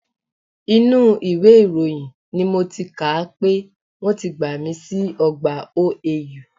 Inú ìwé ìròyìn ni mo ti kà á pé wọ́n ti gbàmi sí ọgbà OAU